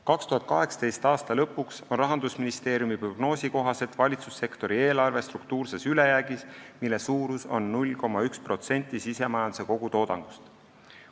2018. aasta lõpuks on Rahandusministeeriumi prognoosi kohaselt valitsussektori eelarve struktuurses ülejäägis, mille suurus on 0,1% sisemajanduse kogutoodangust.